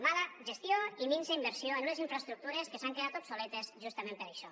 mala gestió i minsa inversió en unes infraestructures que s’han quedat obsoletes justament per això